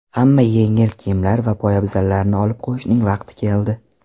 Hamma yengil kiyimlar va poyabzallarni olib qo‘yishning vaqti keldi.